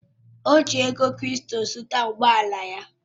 Ọ ji ego krịpto zụta ụgbọ ala ya